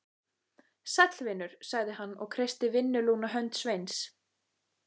Sæll vinur, sagði hann og kreisti vinnulúna hönd Sveins.